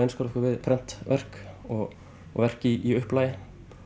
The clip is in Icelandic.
einskorða okkur við prentverk og verk í upplagi